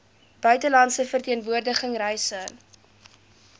buitelandse verteenwoordiging reise